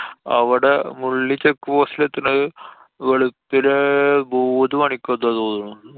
അവടെ Mulli check post ലെത്തുന്നത് വെളുപ്പിന് മൂന്നു മണിക്കെന്തോ ആന്നു തോന്നുന്നു.